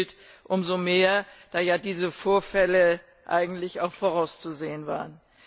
Das gilt umso mehr, als ja diese Vorfälle eigentlich auch vorauszusehen waren.